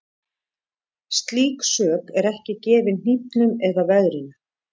Slík sök er ekki gefin hnífnum eða veðrinu.